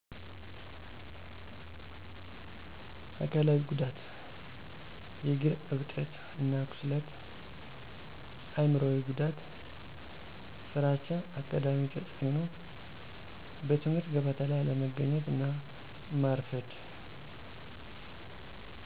አካላዊ ጉዳት:- የእግር እብጠት እና ቁስለት አይምሮአዊ ጉዳት:- ፍራቻ አካዳሚ ተፅእኖ:- በትምህርተ ገበታ ላይ አለመገኘት እና ማርፈድ